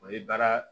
O ye baara